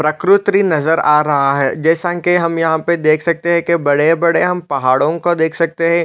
प्रकृति नज़र आ रहा है जैसा कि हम यहाँ पे देख सकते है कि बड़े -बड़े हम पहाड़ॊ को देख सकते हैं ।